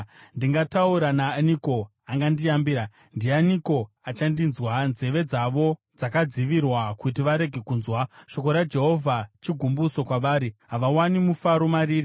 Ndingataura naaniko wandingayambira? Ndianiko achandinzwa? Nzeve dzavo dzakadzivirwa kuti varege kunzwa. Shoko raJehovha chigumbuso kwavari; havawani mufaro mariri.